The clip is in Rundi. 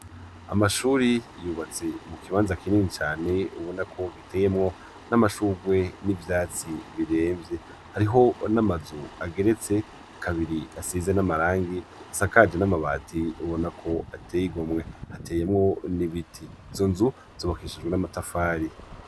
Amashuri yubatse mu kibanza kinini cane ubona ko giteyemwo n'amashugwe n'ivyatsi biremvye, hariho n'amazu ageretse kabiri asize n'amarangi asakaje n'amabati ubona ko ateye igomwe hateyemwo n'ibiti izo nzu zobakishijwe n'amatafari.